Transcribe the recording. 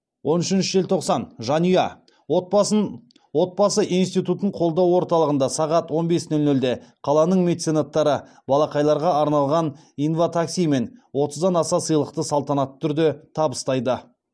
он үшінші желтоқсан жанұя отбасы институтын қолдау орталығында сағат он бес нөл нөлде қаланың меценаттары балақайларға арналған инватакси мен отыздан аса сыйлықты салтанатты түрде табыстайды